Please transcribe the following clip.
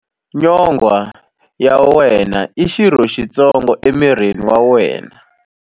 Nyonghwa ya wena i xirho xitsongo emirini wa wena.